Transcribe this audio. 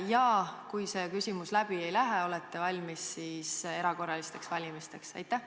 Ja kui see küsimus läbi ei lähe, kas siis olete valmis erakorralisteks valimisteks?